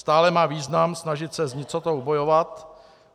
Stále má význam snažit se s nicotou bojovat.